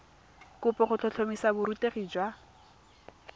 kopo go tlhotlhomisa borutegi jwa